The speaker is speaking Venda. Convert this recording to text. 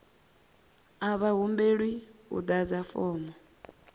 a vha humbelwi u ḓadza fomo